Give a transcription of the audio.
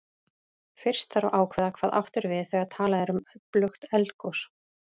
Fyrst þarf að ákveða hvað átt er við þegar talað er um öflugt eldgos.